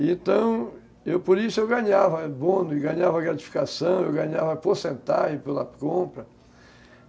Então, por isso eu ganhava bônus, eu ganhava gratificação, eu ganhava porcentagem pela compra.